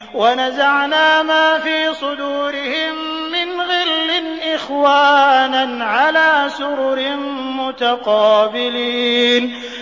وَنَزَعْنَا مَا فِي صُدُورِهِم مِّنْ غِلٍّ إِخْوَانًا عَلَىٰ سُرُرٍ مُّتَقَابِلِينَ